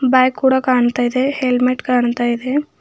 Bike ಕೂಡ ಕಾಣ್ತಾ ಇದೆ ಹೆಲ್ಮೆಟ್ ಕಾಣ್ತಾ ಇದೆ.